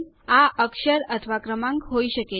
આ અક્ષર અથવા ક્રમાંક હોઈ શકે છે